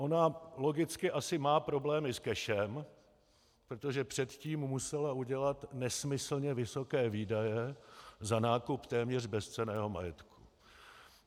Ona logicky asi má problémy s cashem, protože předtím musela udělat nesmyslně vysoké výdaje za nákup téměř bezcenného majetku.